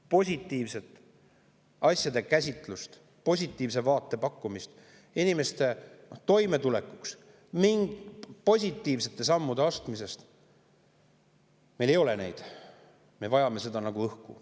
Positiivset asjade käsitlust, positiivse vaate pakkumist inimeste toimetulekust, positiivsete sammude astumist – meil ei ole neid, aga me vajame neid nagu õhku.